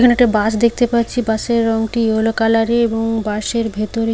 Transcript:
এখানে একটা বাস দেখতে পাচ্ছি বাস - এর রংটি ইয়েলো কালার - এর এবং বাস - এর ভেতরে--